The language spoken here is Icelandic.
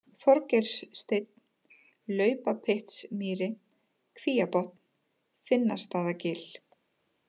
Þorgeirssteinn, Laupapyttsmýri, Kvíabotn, Finnastaðagil